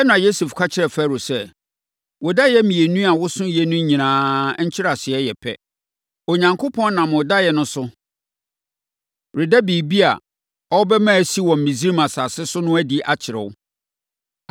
Ɛnna Yosef ka kyerɛɛ Farao sɛ, “Wo daeɛ mmienu a wososoeɛ no nyinaa nkyerɛaseɛ yɛ pɛ. Onyankopɔn nam wo daeɛ no so, reda biribi a ɔrebɛma asi wɔ Misraim asase so no adi akyerɛ wo.